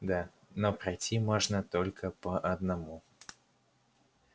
да но пройти можно только по одному